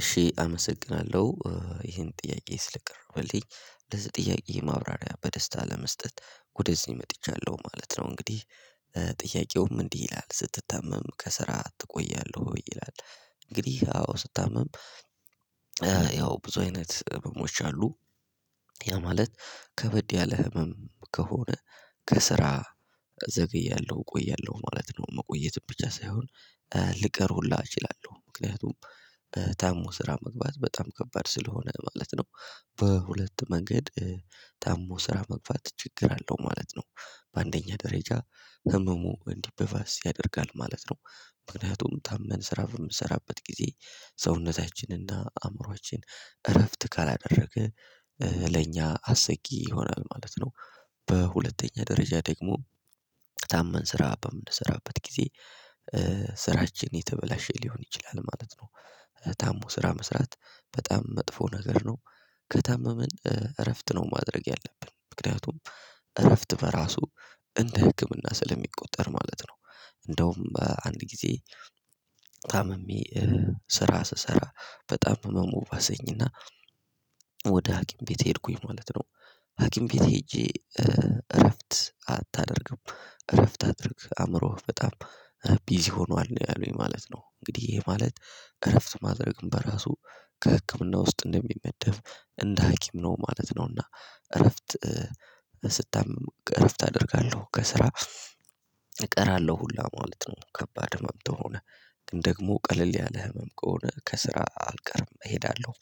እሺ አመሰግናለሁ ይሄን ጥያቄ ስለቀረበልኝ ለዚህ ጥያቄ ማብራሪያ በደስታ ለመስጠት ወደዚህ መጥቻለሁ ማለት ነው እንግዲህ ጥያቄውም እንዲህ ይላል ስትታመም ከስራ ትቆያለህ ወይ ይላል እንግዲህ አዎ ስታመም ያው ብዙ አይነት ህመሞች አሉ፤ ያ ማለት ከበድ ያለ ህመም ከሆነ ከስራ እዘገያለሁ እቆያለሁ ማለት ነው መቆየት ብቻ ሳይሆን ልቀር ሁላ እችላለሁ ምክንያቱም ታሞ ስራ መግባት በጣም ከባድ ስለሆነ ማለት ነው በሁለት መንገድ ታሞ ስራ መግፋት ችግር አለው ማለት ነው በአንደኛ ደረጃ ህመሙ እንዲበባስ ያደርጋል ማለት ነው ምክንያቱም ታመን ስራ በምሰራበት ጊዜ ሰውነታችንና አእምሮአችን እረፍት ካላደረገ ለኛ አስጊ ይሆናል ማለት ነው በሁለተኛ ደረጃ ደግሞ ታመን ስራ በምንሰራበት ጊዜ ስራችን የተበላሸ ሊሆን ይችላል ማለት ነው፤ ታሞ ስራ መስራት በጣም መጥፎ ነገር ነው ከታመመን እረፍት ነው ማድረግ ያለብን ምክንያቱም እረፍት በራሱ እንደ ህክምና ስለሚቆጠር ማለት ነው እንደውም አንድ ጊዜ ታምሜ ስራ ስሰራ በጣም ህመሙ ባሰኝና ወደ ሀኪም ቤት ሄድኩኝ ማለት ነው ሀኪም ቤት ሄጄ እረፍት አታደርግም እረፍት አድርግ አእምሮህ በጣም ቢዚ ሆኗል ነው ያሉኝ ማለት ነው፤ እንግዲህ ይህ ማለት እረፍት ማድረግም በራሱ ከህክምና ውስጥ እንደሚመደብ እንደ ሀኪም ነው ማለት ነውና እረፍት ስታመም እረፍት አደርጋለሁ ከስራ እቀራለሁ ሁላ ማለት ነው፤ ከባድ ህመም ተሆነ ግን ደግሞ ቀለል ያለ ህመም ከሆነ ከስራ አልቀርም እሄዳለሁ፤